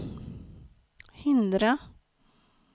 hindra